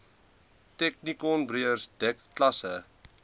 technikonbeurs dek klasse